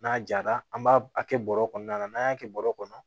N'a jara an b'a a kɛ bɔrɛ kɔnɔna na n'an y'a kɛ bɔrɔ kɔnɔ